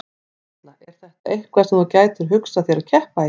Erla: Er þetta eitthvað sem þú gætir hugsað þér að keppa í?